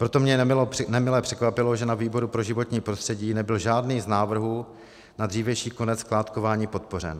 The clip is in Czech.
Proto mě nemile překvapilo, že na výboru pro životní prostředí nebyl žádný z návrhů na dřívější konec skládkování podpořen.